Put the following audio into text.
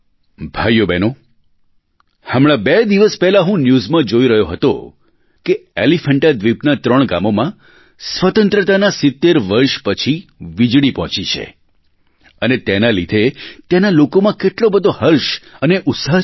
ભાઈઓબહેનો હમણાં બે દિવસ પહેલાં હું ન્યૂઝમાં જોઈ રહ્યો હતો કે એલીફૅન્ટા દ્વીપના ત્રણ ગામોમાં સ્વતંત્રતાના 70 વર્ષ પછી વીજળી પહોંચી છે અને તેના લીધે ત્યાંના લોકોમાં કેટલો બધો હર્ષ અને ઉત્સાહ છે